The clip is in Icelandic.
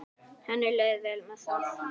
Henni leið vel með það.